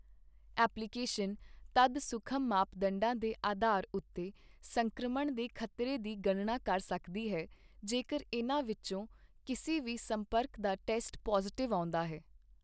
Application ਤਦ ਸੂਖਮ ਮਾਪਦੰਡਾਂ ਦੇ ਅਧਾਰ ਉੱਤੇ ਸੰਕ੍ਰਮਣ ਦੇ ਖ਼ਤਰੇ ਦੀ ਗਣਨਾ ਕਰ ਸਕਦੀ ਹੈ ਜੇਕਰ ਇਨ੍ਹਾਂ ਵਿੱਚੋਂ ਕਿਸੇ ਵੀ ਸੰਪਰਕ ਦਾ ਟੈਸਟ ਪੌਜ਼ੀਟਿਵ ਆਉਂਦਾ ਹੈ।